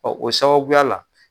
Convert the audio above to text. Ɔ o sababuya la